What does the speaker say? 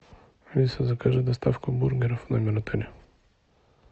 алиса закажи доставку бургеров в номер отеля